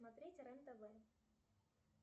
смотреть рен тв